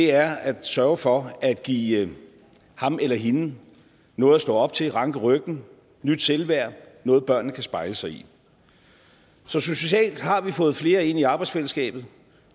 er at sørge for at give ham eller hende noget at stå op til ranke ryggen nyt selvværd noget børnene kan spejle sig i så socialt har vi fået flere ind i arbejdsfællesskabet